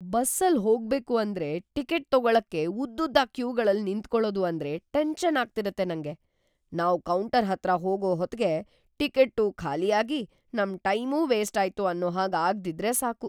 ಬಸ್ಸಲ್‌ ಹೋಗ್ಬೇಕು ಅಂದ್ರೆ ಟಿಕೆಟ್‌ ತಗೊಳಕ್ಕೆ ಉದ್ದುದ್ದ ಕ್ಯೂಗಳಲ್ಲ್‌ ನಿಂತ್ಕೊಳದು ಅಂದ್ರೆ ಟೆನ್ಷನ್‌ ಆಗ್ತಿರತ್ತೆ ನಂಗೆ, ನಾವ್‌ ಕೌಂಟರ್‌ ಹತ್ರ ಹೋಗೋ ಹೊತ್ಗೆ ಟಿಕೆಟ್ಟೂ ಖಾಲಿಯಾಗಿ ನಮ್‌ ಟೈಮೂ ವೇಸ್ಟಾಯ್ತು ಅನ್ನೋ ಹಾಗ್‌ ಆಗ್ದಿದ್ರೆ ಸಾಕು.